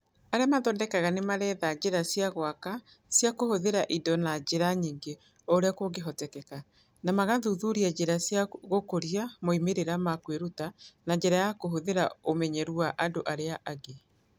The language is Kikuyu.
Arĩa mathondekaga nĩ marethaga njĩra cia gwaka cia kũhũthĩra indo na njĩra nyingĩ o ũrĩa kũngĩhoteka, na magathuthuria njĩra cia gũkũria moimĩrĩro ma kwĩruta na njĩra ya kũhũthĩra ũmenyeru wa andũ arĩa angĩ.